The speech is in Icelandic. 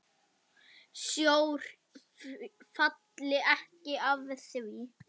Sjór falli alveg að því.